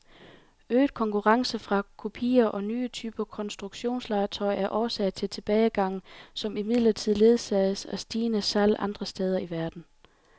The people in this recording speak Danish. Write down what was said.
Øget konkurrence fra kopier og nye typer konstruktionslegetøj er årsag til tilbagegangen, som imidlertid ledsages af stigende salg andre steder i verden.